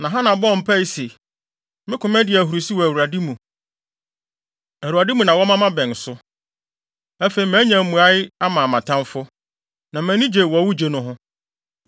Na Hana bɔɔ mpae se, “Me koma di ahurusi wɔ Awurade mu! Awurade mu na wɔma mʼabɛn so. Afei, manya mmuae ama mʼatamfo, na mʼani gye wɔ wo gye no ho.